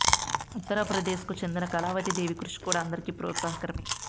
ఉత్తరప్రదేశ్కు చెందిన కళావతి దేవి కృషి కూడా అందరికీ ప్రోత్సాహకరమే